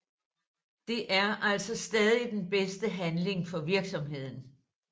Det er altså stadig den bedste handling for virksomheden